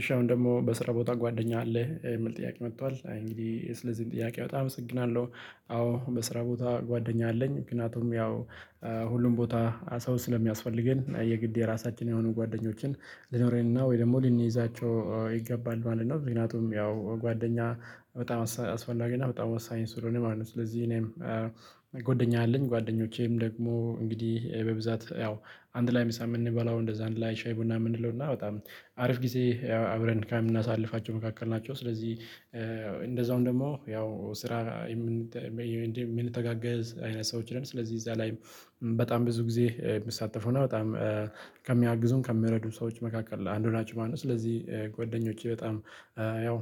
እሺ አሁን ደግሞ በስራ ቦታ ጓደኛ አለ የምል ጥያቄ መጥቷል እንግዲህ ስለዚህ ጥያቄ በጣም አመሰግናለሁ። አዎ በስራ ቦታ ጓደኛ አለኝ ምክንያቱም ያው ሁሉም ቦታ ሰው ስለሚያስፈልገን የግድ የራሳችን የሆኑ ጓደኞችን ልኖረንና ወይ ደግሞ ልንይዛቸው ይገባል ማለት ነው። ምክንያቱም ያው ጓደኛ በጣም አስፈላጊ እና በጣም ወሳኝ ስለሆነ ማለት ነው። ስለዚህ እኔም ጎደኛ አለኝ ጓደኞቼም ደግሞ እንግዲህ በብዛት ያው አንድ ላይ ሚሳም የምንበላው እንደዛ አንድ ላይ ሻይ ቡና የምንለው እና በጣም አሪፍ ጊዜ አብረን ከምናሳልፋቸው መካከል ናቸው። ስለዚህ እንደዛውም ደግሞ ያው ስራ በዴብ ምንተጋገዝ አይነት ሰዎች ነን ስለዚህ እዛ ላይም በጣም ብዙ ግዜ ሚሳተፈው ነው በጣም ከሚያግዙን ከሚያረዱን ሰዎች መካከል ለአንዱ ናችው። ማለት ስለዚህ ጎደኞቼ በጣም ያው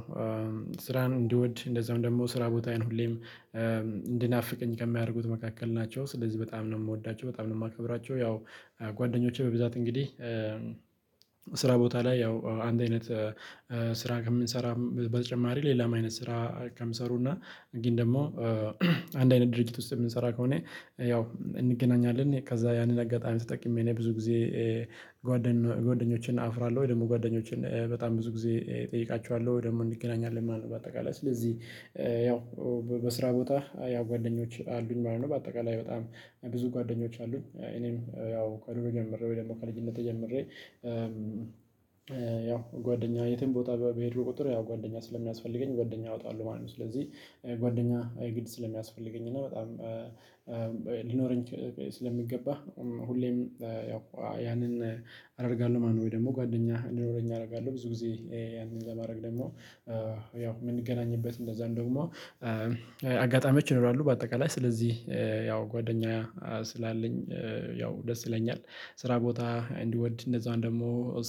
ስራን እንዲወድ እንደዛም ደሞ ስራ ቦታዬን ሁሌም እንዲናፍቀኝ ከሚያርጉት መካከል ናቸው። ስለዚህ በጣም ነው ምወዳቸው በጣም ነው ማከብራቸው። ያው ጓደኞቼ በብዛት እንግዲህ ስራ ቦታ ላይ ያው አንድ አይነት ስራ ከምንሰራ በተጨማሪ ሌላም አይነት ስራ ከምሰሩና ግን ደሞ አንድ አይነት ድርጊት ውስጥ የምንሰራ ከሆነ ያው እንገናኛለን። ከዛ ያንን አጋጣሚ ተጠቅሜ እኔ ብዙ ጊዜ ጓደኞችን አፍራለሁ ወይ ደሞ ጓደኞችን በጣም ብዙ ጊዜ እጠይቃችኋለሁ ወይ ደሞ እንገናኛለን ማለት ነው። በአጠቃላይ ስለዚህ ያው በስራ ቦታ ያው ጓደኞች አሉኝ ማለት ነው። በአጠቃላይ በጣም ብዙ ጓደኞች አሉኝ እኔም ጀምሬ ወይ ደሞ ከልጅነቴ ጀምሬ ያው ጓደኛ የትም ቦታ በሄድኩ ቁጥር ያው ጓደኛ ስለሚያስፈልገኝ ጓደኛ አወጣሉው ማለት ነው። ስለዚህ ጓደኛ የግድ ስለሚያስፈልገኝ እና በጣም ሊኖረኝ ስለሚገባህ ሁሌም ያው ያንን አደርጋለሁ ማለት ነው። ወይ ደሞ ጓደኛ እንዲኖረኝ አረጋለሁ ብዙ ግዜ ያንን ለማድረግ ደሞ ያው ምንገናኝበት እንደዛን ደግሞ አጋጣሚዎች ይኖራሉ። በአጠቃላይ ስለዚህ ያው ጓደኛ ስላለኝ ያው ደስ ይለኛል። ስራ ቦታ እንዲወድ እንደዛን ደሞ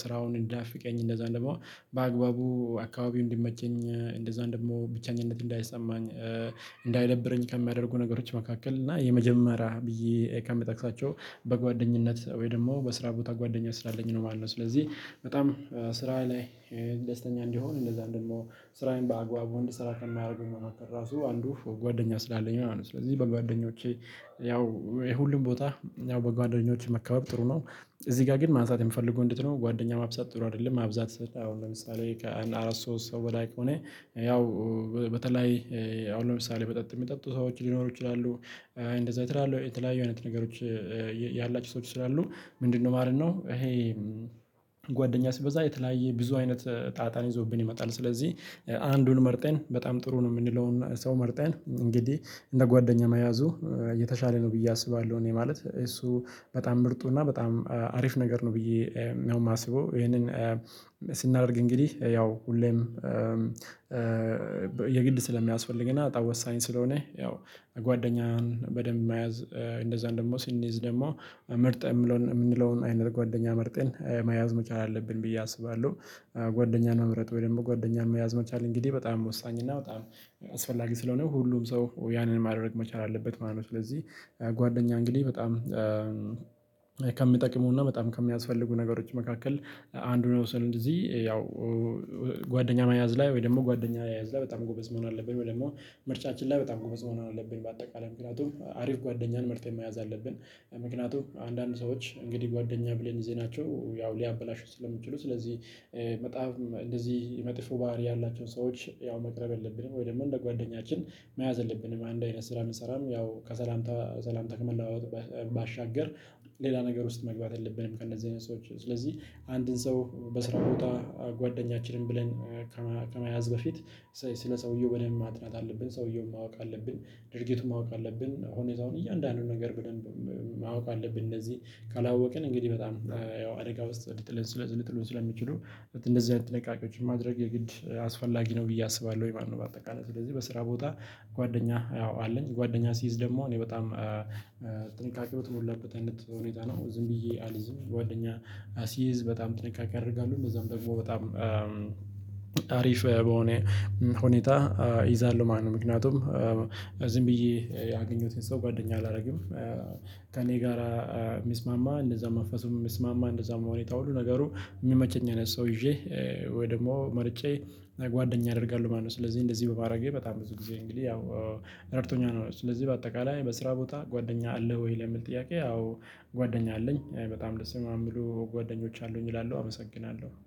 ስራውን እንዳናፍቀኝ እንደዛን ደሞ በአግባቡ አካባቢው እንዲመቸኝ እንደዛን ደግሞ ብቸኝነት እንዳይሰማኝ እንዳይደብረኝ ከሚያደርጉ ነገሮች መካከል እና የመጀመሪያ ብዬ ከመጠቅሳቸው በጓደኝነት ወይ ደሞ በስራ ቦታ ጓደኛ ስላለኝ ነው ማለት ነው። ስለዚህ በጣም ስራ ላይ ደስተኛ እንዲሆን እንደዛ ደሞ ስራዬን በአግባቡ እንድሰራ ከማያርጉኝ መካከል ራሱ አንዱ ጓደኛ ስላለኝ ነው። ስለዚህ በጓደኞቼ ያው የሁሉም ቦታ ያው በጓደኞች መከበብ ጥሩ ነው። እዚህ ጋ ግን ማንሳት የምፈልገው እንዴት ነው? ጓደኛ ማብዛት ጥሩ አደለም ማብዛት አሁን ለምሳሌ ከአንድ አራት ሶስት ሰው በላይ ከሆነ ያው በተለይ አሁን ለምሳሌ መጠጥ ሚጠጡ ሰዎች ሊኖሩ ይችላሉ። እንደዛ የተላሉ የተለያዩ አይነት ነገሮች ያላችው ሰዎች ስላሉ ምንድነው ማለት ነው? እሄ ጓደኛ ሲበዛ የተለያየ ብዙ አይነት ጣጣን ይዞብን ይመጣል። ስለዚህ አንዱን መርጠን በጣም ጥሩ ነው ምንለውና ሰው መርጠን እንግዲህ እንደ ጓደኛ መያዙ የተሻለ ነው ብዬ አስባለሁ። እኔ ማለት እሱ በጣም ምርጡ እና በጣም አሪፍ ነገር ነው። ብዬ ነው ማስበው እሄንን ስናርግ እንግዲህ ያው ሁሌም የግድ ስለሚያስፈልግና በጣም ወሳኝ ስለሆነ ያው ጓደኛህን በደንብ መያዝ እንደዛን ደሞ ስንይዝ ደሞ መርጠን ምንለውን አይነት ጓደኛ መርጠን መያዝ መቻል አለብን ብዬ አስባለሁ። ጓደኛን መምረጥ ወይ ደሞ ጓደኛን መያዝ መቻል እንግዲህ በጣም ወሳኝ እና በጣም አስፈላጊ ስለሆነ ሁሉም ሰው ያንን ማድረግ መቻል አለበት ማለት ነው። ስለዚህ ጓደኛ እንግዲህ በጣም ከሚጠቅሙና በጣም ከሚያስፈልጉ ነገሮች መካከል አንዱን መውሰድ እንደዚህ ያው ጓደኛ መያዝ ላይ ወይ ደሞ ጓደኛ መያዝ ላይ በጣም ጎበዝ መሆን አለብን። ወይ ደሞ ምርጫችን ላይ በጣም ጎበዝ መሆን አለብን። በአጠቃላይ ምክንያቱም አሪፍ ጓደኛን መርጠን መያዝ አለብን። ምክንያቱም አንዳንድ ሰዎች እንግዲህ ጓደኛ ብለን ይዘናቸው ያው ሊያበላሹ ስለሚችሉ ስለዚህ በጣም እንደዚህ መጥፎ ባህሪ ያላቸውን ሰዎች ያው መቅረብ የለብንም። ወይ ደሞ እንደ ጓደኛችን መያዝ የለብንም። አንድ አይነት ስራ ብንሰራም ያው ከሰላም ከሰላም ከመለዋወጥ ባሻገር ሌላ ነገር ውስጥ መግባት የለብንም። ከእንደዚህ አይነት ሰዎች ስለዚህ አንድን ሰው በስራ ቦታ ጓደኛችንን ብለን ከመያዝ በፊት ስለ ሰውየው በደብ ማጥናት አለብን። ሰውየውን ማወቅ አለብን። ድርጊቱን ማወቅ አለብን። ሆነታውን እያንዳንዱን ነገር ብደንብ ማወቅ አለብን። እነዚህ ካላወቅን እንግዲህ በጣም ያው አደጋ ውስጥ ለትል ሊጥሉን ስለሚችሉ እንደዚህ አይነት ጥንቃቄዎችን ማድረግ የግድ አስፈላጊ ነው። ብዬ አስባለሁ ብዬ አስባለሁኝ። በአጠቃላይ ስለዚህ በስራ ቦታ ጓደኛ ያው አለኝ ጓደኛ ሲይዝ ደሞ እኔ በጣም ጥንቃቄው በተሞላበት አይነት ሁኔታ ነው ዝም ብዬ አልይዝም። ጓደኛ አ ስይዝ በጣም ጥንቃቄ አደርጋሉ። እንደዛም ደግሞ በጣም አሪፍ በሆነ ሁኔታ እይዛለሁ ማለት ነው። ምክንያቱም ዝም ብዬ ያገኘሁትን ሰው ጓደኛ አላርግም። ከእኔ ጋራ ሚስማማ እንደዛ መንፈሱን ሚስማማ እንደዛም ሁኔታ ሁሉ ነገሩ ሚመቸኝ አይነት ሰው ይዤ ወይ ደግሞ መርጬ ጓደኛ አደርጋሉ ማለት ነው። ስለዚህ እንደዚህ በማድረጌ በጣም ብዙ ጊዜ እንግዲህ ያው ረድቶኛል ነው። ስለዚህ በአጠቃላይ በስራ ቦታ ጓደኛ አለህ ወይ ለሚል ጥያቄ? አዎ ጓደኛ አለኝ። በጣም ደስ የሚሉ ጓደኞች አሉኝ እላለሁ አመሰግናለሁ